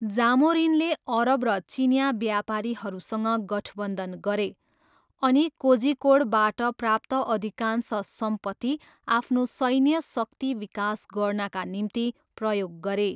जामोरिनले अरब र चिनियाँ व्यापारीहरूसँग गठबन्धन गरे अनि कोझिकोडबाट प्राप्त अधिकांश सम्पत्ति आफ्नो सैन्य शक्ति विकास गर्नाका निम्ति प्रयोग गरे।